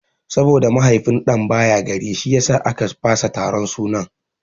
Saboda mahaifin ɗan baya gari shiyasa a ka fasa taron sunan.